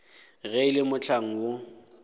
ge e le mohlang woo